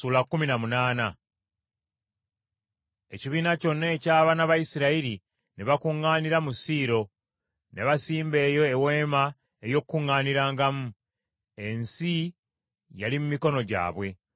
Ekibiina kyonna eky’abaana ba Isirayiri ne bakuŋŋaanira mu Siiro ne basimba eyo Eweema ey’Okukuŋŋaanirangamu. Ensi yali mu mikono gyabwe,